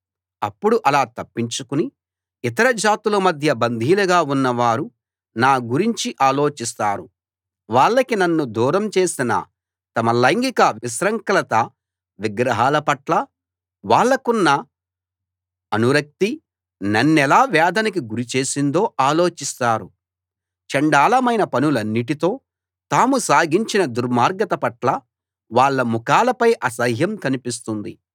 అప్పుడు అలా తప్పించుకుని ఇతర జాతుల మధ్య బందీలుగా ఉన్నవారు నా గురించి ఆలోచిస్తారు వాళ్ళకి నన్ను దూరం చేసిన తమ లైంగిక విశృంఖలత విగ్రహాలపట్ల వాళ్ళకున్న అనురక్తీ నన్నెలా వేదనకి గురి చేసిందో ఆలోచిస్తారు చండాలమైన పనులన్నిటితో తాము సాగించిన దుర్మార్గత పట్ల వాళ్ళ ముఖాలపై అసహ్యం కనిపిస్తుంది